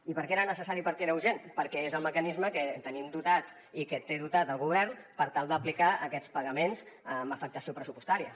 i per què era necessari i per què era urgent perquè és el mecanisme que tenim dotat i que té dotat el govern per tal d’aplicar aquests pagaments amb afectació pressupostària